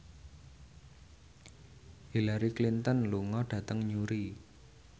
Hillary Clinton lunga dhateng Newry